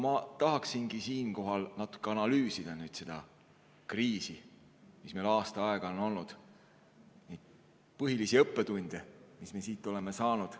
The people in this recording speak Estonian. Ma tahaksingi siinkohal natuke analüüsida seda kriisi, mis meil aasta aega on olnud, põhilisi õppetunde, mis me siit oleme saanud.